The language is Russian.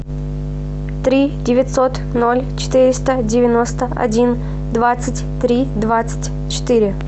три девятьсот ноль четыреста девяносто один двадцать три двадцать четыре